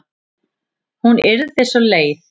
Hún yrði svo leið.